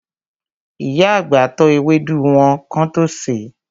Ìyá àgbà tọ́ ewédú wọn kán tó sèé.